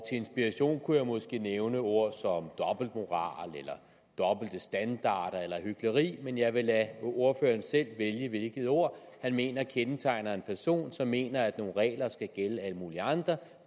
inspiration kunne jeg måske nævne ord som dobbeltmoral eller dobbelte standarder eller hykleri men jeg vil lade ordføreren selv vælge hvilket ord han mener kendetegner en person som mener at nogle regler skal gælde alle mulige andre